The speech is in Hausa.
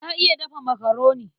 Na iya dafa makaroni.